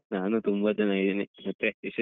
ನಾನು ತುಂಬಾ ಚೆನ್ನಾಗಿದ್ದೀನಿ ಮತ್ತೆ ವಿಶೇಷ?